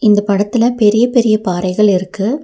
இந்த படத்துல பெரிய பெரிய பாறைகள் இருக்கு.